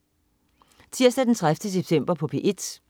Tirsdag den 30. september - P1: